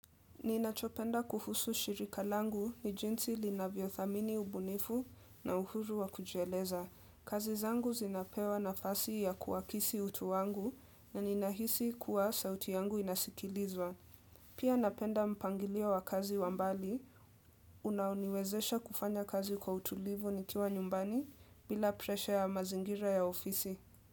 Ninachopenda kuhusu shirika langu ni jinsi linavyo thamini ubunifu na uhuru wa kujieleza. Kazi zangu zinapewa nafasi ya kuwakisi utu wangu na ninahisi kuwa sauti yangu inasikilizwa. Pia napenda mpangilio wa kazi wambali, unaoniwezesha kufanya kazi kwa utulivu nikiwa nyumbani bila preshe ya mazingira ya ofisi.